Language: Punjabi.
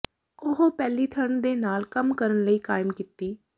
ਉਹ ਪਹਿਲੀ ਠੰਡ ਦੇ ਨਾਲ ਕੰਮ ਕਰਨ ਲਈ ਕਾਇਮ ਕੀਤੀ